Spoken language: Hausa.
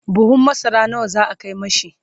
buhun masara nawa za'a Kai mishi?